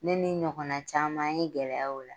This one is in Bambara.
Ne ni n ɲɔgɔnna caman ye gɛlɛya y'o la